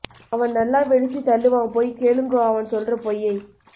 அவன் நல்ல வெடிச்சு தள்ளுவான் பொய் கேலுங்கோ அவன் சொல்லுற பொய்யை